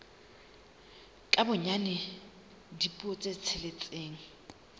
ka bonyane dipuo tse tsheletseng